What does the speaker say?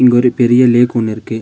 இங்க ஒரு பெரிய லேக் ஒன்னு இருக்கு.